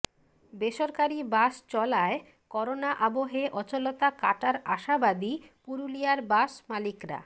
বেসরকারি বাস চলায় করোনা আবহে অচলতা কাটার আশাবাদী পুরুলিয়ার বাস মালিকরা